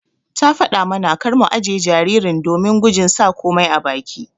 Ta fada mana kar mu ajiƴe jaririn domin gujin sa komai a baki.